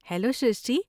Hello Shrishti!